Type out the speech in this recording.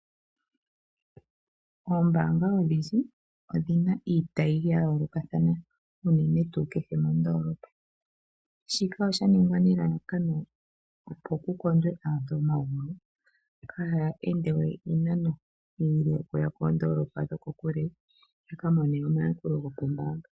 Oombanga odhindji odhina iitayi yayoolokathana uunene kehe mondolopa shika oshaningwa nelalakano opo kukondwe aantu momagumbo kaa ende we iinano iile okuya koondolopa dhokokule yakamone omayakulo gokombaanga.